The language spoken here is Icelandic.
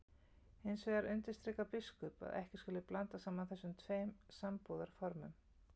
Hins vegar undirstrikar biskup að ekki skuli blanda saman þessum tveim sambúðarformum.